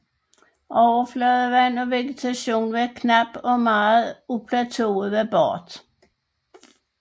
Overfladevand og vegetation var knap og meget af plateauet var bart